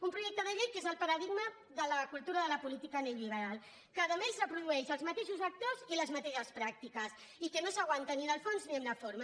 un projecte de llei que és el paradigma de la cultura de la política neoliberal que a més reprodueix els mateixos actors i les mateixes pràctiques i que no s’aguanta ni en el fons ni en la forma